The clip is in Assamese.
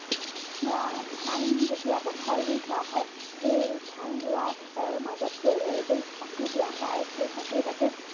আহ ধান যেতিয়া পথাৰত ৰুই থোৱা হয় সেই ধান ৰেৱাৰ মাজত গৈ এগছ চাকি দিয়া হয় আৰু সেই চাকিয়ে যাতে